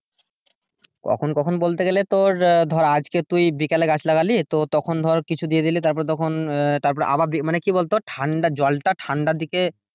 কখন কখন বলতে গেলে তোর আহ ধর আজকে তুই বিকেল গাছ লাগালি তো তখন ধর কিছু দিয়ে দিলি তারপরে তখন আহ তারপরে আবার মানে কি বলতো জলটা ঠান্ডা ঠান্ডার দিকে,